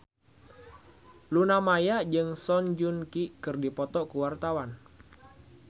Luna Maya jeung Song Joong Ki keur dipoto ku wartawan